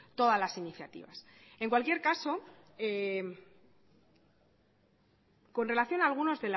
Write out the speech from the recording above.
todas las iniciativas en cualquier caso con relación a algunos